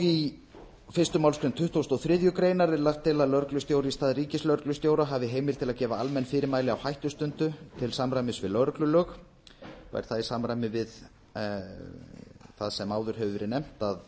í fyrstu málsgrein tuttugustu og þriðju grein er lagt til að lögreglustjóri í stað ríkislögreglustjóra hafi heimild til að gefa almenn fyrirmæli á hættustundu til samræmis við lögreglulög og er það í samræmi við það sem áður hefur verið nefnt að